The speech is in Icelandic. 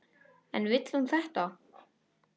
En vill hún þetta?